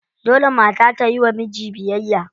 Dole mata ta yiwa miji biyayya.